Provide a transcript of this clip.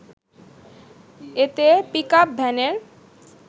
এতে পিকআপ ভ্যানের